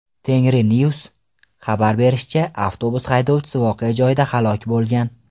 Tengrinews’ning xabar berishicha , avtobus haydovchisi voqea joyida halok bo‘lgan.